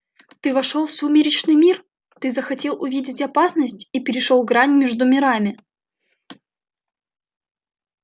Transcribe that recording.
ты вошёл в сумеречный мир ты захотел увидеть опасность и перешёл грань между мирами